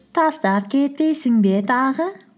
тастап кетпейсің бе тағы